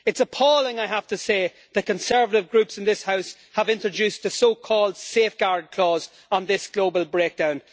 It is appalling, I have to say, that conservative groups in this House have introduced a so-called safeguard clause' on this global breakdown.